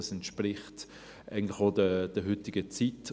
Das entspricht eigentlich auch der heutigen Zeit.